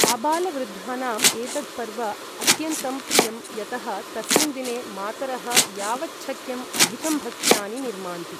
आबालवृद्धानाम् एतद् पर्व अत्यन्तं प्रियम् यतः तस्मिन् दिने मातरः यावच्छक्यम् अधिकं भक्ष्यानि निर्मान्ति ।